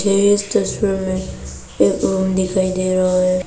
इस तस्वीर में एक रूम दिखाई दे रहा है।